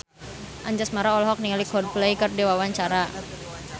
Anjasmara olohok ningali Coldplay keur diwawancara